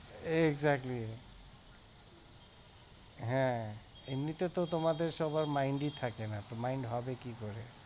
exactly হ্যাঁ এমনিতে তো তোমাদের সবার mind ই থাকেনা mind হবে কি করে!